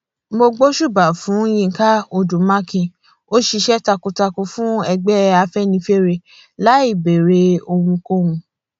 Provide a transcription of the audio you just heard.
mo gbóṣùbà fún yinka odu makin ó ṣiṣẹ takuntakun fún ẹgbẹ afẹnifẹre láì béèrè ohunkóhun